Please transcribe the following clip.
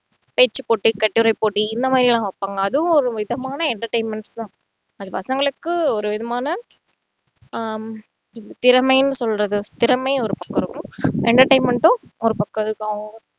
பேச்சு போட்டி, கட்டுரை போட்டி இந்த மாதிரியெல்லாம் வைப்பாங்க அதுவும் ஒரு விதமான entertainments தான் அது பசங்களுக்கு ஒரு விதமான ஆஹ் திறமைன்னு சொல்றது திறமையும் ஒரு பக்கம் இருக்கும் entertainment உம் ஒரு பக்கம் இருக்கும் அவங்க அவங்க